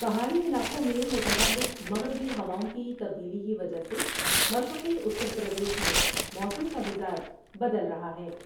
پہاڑی علاقوں میں متحرک مغربی ہواؤں کی تبدیلی کی وجہ سے مشرقی اتر پردیش میں موسم کا مزاج بدل رہا ہے ۔